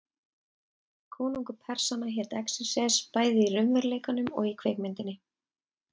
Konungur Persanna hét Xerxes, bæði í raunveruleikanum og í kvikmyndinni.